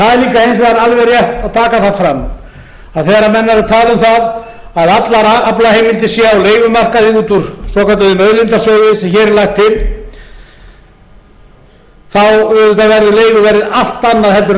það er líka hins vegar alveg rétt að taka það fram að þegar menn eru að tala um það að allar aflaheimildir séu á leigumarkaði út úr svokölluðum auðlindasjóði sem hér er lagt til þá auðvitað verður leiguverðið allt annað en